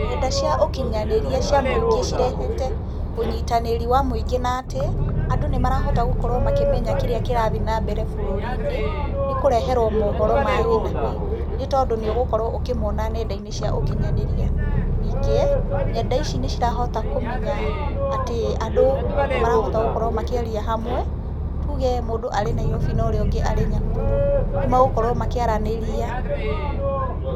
Nenda cia ũkinyanĩria cia mũingĩ cirehete ũnyitanĩri wa mũingĩ na atĩ ,andũ nĩ marahota gũkorwo makĩmenya kĩrĩa kĩrathiĩ nambere bũrũri-inĩ, nĩ kũreherwo mohoro ma hi na hi nĩ tondũ nĩ ũgũkorwo ũkĩmona nenda-inĩ cia ũkinyanĩria. Ningĩ nenda ici nĩ cirahota kũmenya atĩ andũ nĩ marahota gũkorwo makĩaria hamwe. Tũge mũndũ arĩ Nairobi na ũrĩa ũngĩ arĩ Nyahururu, nĩ megũkorwo makĩaranĩria.